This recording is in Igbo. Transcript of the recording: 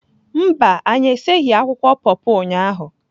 Mba, anyị esighị akwụkwọ pọpọ ụnyahụ